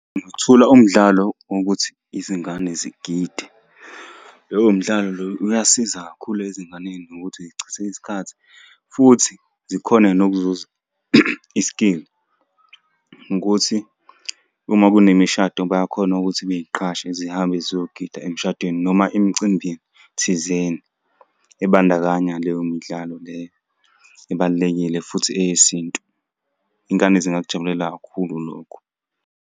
Ngingathula umdlalo wokuthi izingane zigide. Lowo mdlalo lowo uyasiza kakhulu ezinganeni nokuthi iy'chithe isikhathi, futhi zikhone nokuzuza i-skill ukuthi uma kunemishado bayakhona ukuthi bey'qashe zihambe ziyogida emshadweni noma emcimbini thizeni, ebandakanya leyo midlalo leyo ebalulekile, futhi eyesintu. Iy'ngane zingakujabulela kakhulu lokho.